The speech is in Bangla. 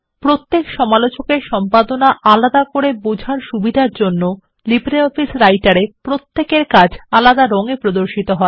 প্রত্যেক সমালোচকের সম্পাদনা আলাদা করে বোঝার সুবিধার জন্য লো রাইটার এ প্রত্যেকের কাজ আলাদা রং এ প্রদর্শিত হয়